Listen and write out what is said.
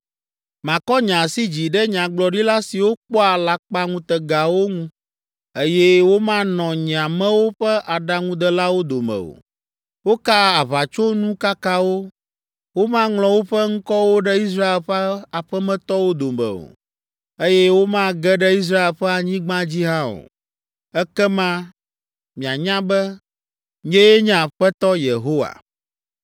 Makɔ nye asi dzi ɖe nyagblɔɖila siwo kpɔa alakpaŋutegawo ŋu, eye womanɔ nye amewo ƒe aɖaŋudelawo dome o. Wokaa aʋatsonukakawo, womaŋlɔ woƒe ŋkɔwo ɖe Israel ƒe aƒemetɔwo dome o, eye womage ɖe Israel ƒe anyigba dzi hã o. Ekema mianya be, nyee nye Aƒetɔ Yehowa.’ ”